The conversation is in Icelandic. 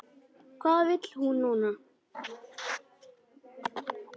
Hvað vill hún núna?